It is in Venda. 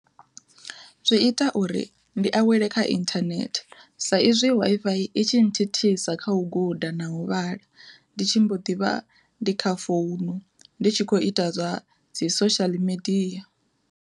Zwi ita uri ndi awele kha inthanethe sa izwi Wi-Fi i tshi thithisa kha u guda na u vhala, ndi tshi mbo ḓivha ndi kha founu ndi tshi kho ita zwa dzi social media.